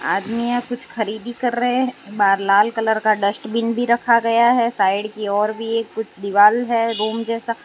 आदमी यहां कुछ खरीदी कर रहे हैं बार लाल कलर का डस्टबिन भी रखा गया है साइड की ओर भी एक कुछ दीवाल है रूम जैसा--